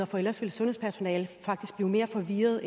for ellers vil sundhedspersonalet faktisk blive mere forvirret og